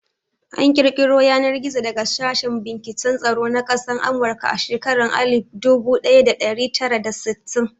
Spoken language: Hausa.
An ƙirƙiro Yanar-gizo daga sashen binciken tsaro na ƙasan amurka a shekaran Alif budu daya da dari tara da sittin.